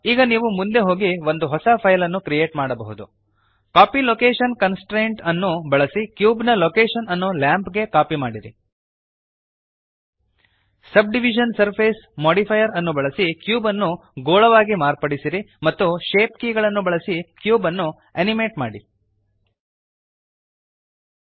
ಈಗ ನೀವು ಮುಂದೆ ಹೋಗಿ ಒಂದು ಹೊಸ ಫೈಲನ್ನು ಕ್ರಿಯೇಟ್ ಮಾಡಬಹುದು ಕಾಪೀ ಲೊಕೇಶನ್ ಕನ್ಸ್ಟ್ರೇಂಟ್ ಅನ್ನು ಬಳಸಿ ಕ್ಯೂಬ್ ನ ಲೊಕೇಶನ್ ಅನ್ನು ಲ್ಯಾಂಪ್ ಗೆ ಕಾಪಿ ಮಾಡಿರಿ ಸಬ್ಡಿವಿಷನ್ ಸರ್ಫೇಸ್ ಮೋಡಿಫೈಯರ್ ಅನ್ನು ಬಳಸಿ ಕ್ಯೂಬ್ಅನ್ನು ಗೋಳವಾಗಿ ಮಾರ್ಪಡಿಸಿರಿ ಮತ್ತು ಶೇಪ್ ಕೀಗಳನ್ನು ಬಳಸಿ ಕ್ಯೂಬ್ಅನ್ನು ಅನಿಮೇಟ್ ಮಾಡಿರಿ